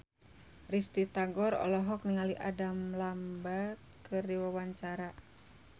Risty Tagor olohok ningali Adam Lambert keur diwawancara